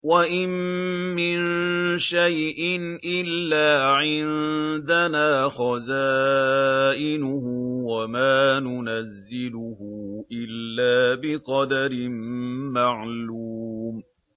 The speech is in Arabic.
وَإِن مِّن شَيْءٍ إِلَّا عِندَنَا خَزَائِنُهُ وَمَا نُنَزِّلُهُ إِلَّا بِقَدَرٍ مَّعْلُومٍ